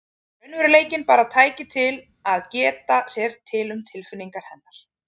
Raunveruleikinn bara tæki til að geta sér til um tilfinningar hennar.